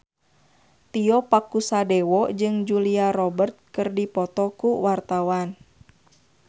Tio Pakusadewo jeung Julia Robert keur dipoto ku wartawan